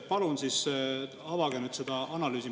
Palun avage seda analüüsi.